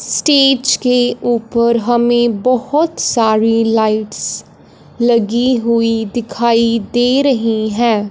Stage के ऊपर हमे बहोत सारी लाइट्स लगी हुई दिखाई दे रही है।